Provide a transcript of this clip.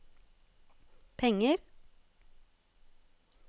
penger